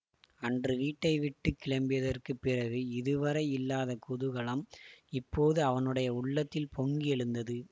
அன்று வீட்டை விட்டு கிளம்பியதற்குப் பிறகு இதுவரை இல்லாத குதூகலம் இப்போது அவனுடைய உள்ளத்தில் பொங்கி எழுந்தது